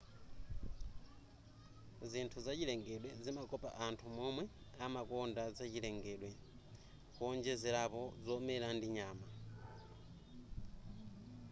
zinthu zachilengedwe zimakopa anthu womwe amakonda zachilengedwe kuonjezerapo zomera ndi nyama